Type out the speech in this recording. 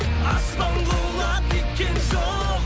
аспан құлап кеткен жоқ